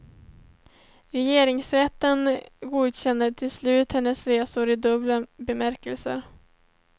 Regeringsrätten godkände till slut hennes resor i dubbel bemärkelse.